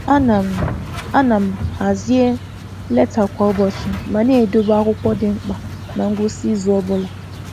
A na m hazie leta kwa ụbọchị ma na-edobe akwụkwọ dị mkpa na ngwụsị izu ọ bụla